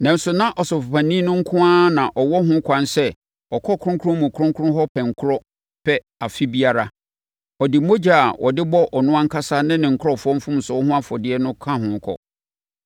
nanso na Ɔsɔfopanin no nko ara na ɔwɔ ho ɛkwan sɛ ɔkɔ Kronkron mu Kronkron hɔ pɛnkorɔ pɛ afe biara. Ɔde mogya a ɔde bɔ ɔno ankasa ne ne nkurɔfoɔ mfomsoɔ ho afɔdeɛ ka ne ho kɔ.